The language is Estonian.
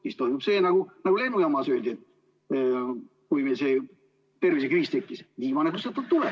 Siis toimub see, nagu lennujaamas öeldi, kui meil see tervisekriis tekkis: viimane kustutab tule.